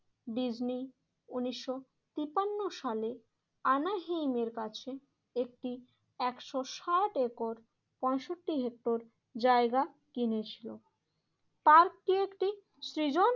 Disney উন্নিশশো তিপান্ন সালে আনাহিমের কাছে একটি একশো সাত একর পঁয়ষট্টি হেক্টর জায়গা কিনেছিল। পার্কে একটি সৃজন